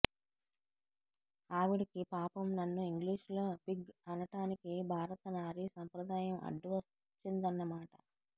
ఆవిడకి పాపం నన్ను ఇంగ్లీషులో పిగ్ అనటానికి భారత నారీ సంప్రదాయం అడ్డువచ్చిందన్నమాట